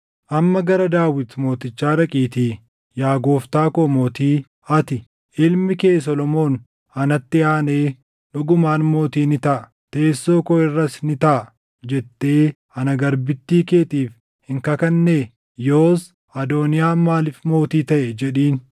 Amma gara Daawit mootichaa dhaqiitii, ‘Yaa gooftaa koo mootii, ati, “Ilmi kee Solomoon anatti aanee dhugumaan mootii ni taʼa; teessoo koo irras ni taaʼa” jettee ana garbittii keetiif hin kakannee? Yoos Adooniyaan maaliif mootii taʼe?’ jedhiin.